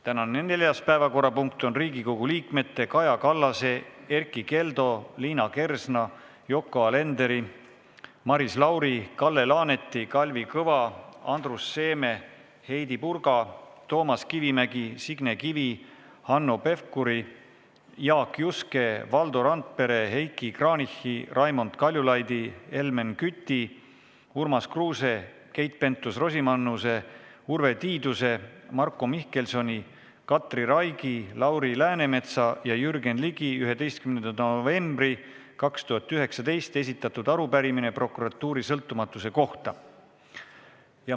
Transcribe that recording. Tänane neljas päevakorrapunkt on Riigikogu liikmete Kaja Kallase, Erkki Keldo, Liina Kersna, Yoko Alenderi, Maris Lauri, Kalle Laaneti, Kalvi Kõva, Andrus Seeme, Heidy Purga, Toomas Kivimägi, Signe Kivi, Hanno Pevkuri, Jaak Juske, Valdo Randpere, Heiki Kranichi, Raimond Kaljulaidi, Helmen Küti, Urmas Kruuse, Keit Pentus-Rosimannuse, Urve Tiiduse, Marko Mihkelsoni, Katri Raigi, Lauri Läänemetsa ja Jürgen Ligi 11. novembril 2019 esitatud arupärimine prokuratuuri sõltumatuse kohta.